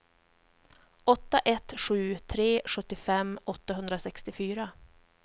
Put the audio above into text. åtta ett sju tre sjuttiofem åttahundrasextiofyra